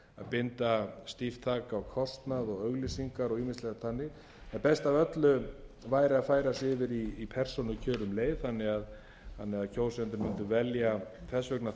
binda stíft þak á kostnað og auglýsingar og ýmislegt þannig en best af öllu væri að færa sig yfir í persónukjör um leið þannig að kjósendur mundu velja þess vegna þvert á lista sem er mín